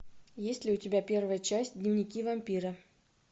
есть ли у тебя первая часть дневники вампира